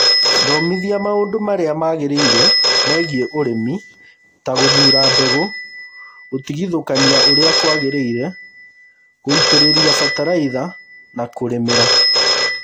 Thomithia maũndũ marĩa magĩrĩire megiĩ ũrĩmi, ta gũthuura mbegũ, gutigithukania uria kuagiriire, guitiriria bataraitha and kurimira.